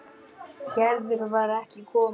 Gerður var ekki komin.